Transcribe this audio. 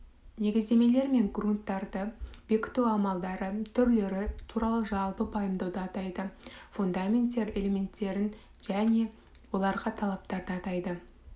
негіздемелер мен грунттарды бекіту амалдары түрлері туралы жалпы пайымдауды атайды фундаменттер элементтерін және оларға талаптарды атайды